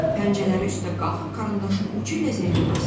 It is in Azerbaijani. Pəncələri üstə qalxıb karandaşın ucu ilə zəngi basdı.